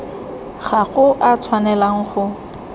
ga go a tshwanelwa go